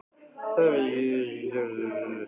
Það hefði hann ekki sagt ef honum hefði verið alvara